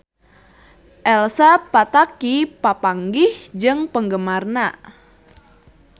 Elsa Pataky papanggih jeung penggemarna